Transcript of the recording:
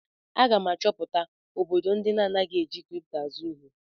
Aga m achọpụta obodo ndị anaghị eji kripto azụ ihe.